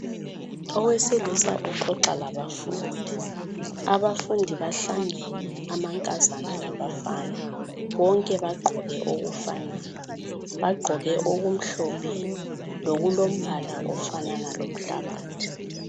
Owesilisa uxoxa labafundi, abafundi bahlangene amankazana labafana bonke bagqoke okufanayo, bagqoke okumhlophe lokulo mbala ofanana lomhlabathi.